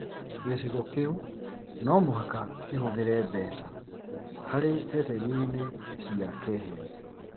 Gĩcigo kĩu no mũhaka kĩhũthĩre mbeca harĩ ceceni-inĩ cia keheri